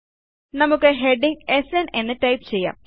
നമുക്ക് ഹെഡിംഗ് സ്ന് എന്ന് ടൈപ്പ് ചെയ്യാം